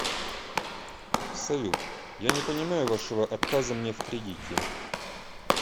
салют я не понимаю вашего отказа мне в кредите